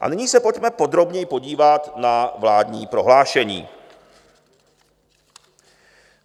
A nyní se pojďme podrobněji podívat na vládní prohlášení.